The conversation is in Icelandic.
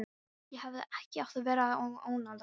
Ég hefði ekki átt að vera að ónáða þig.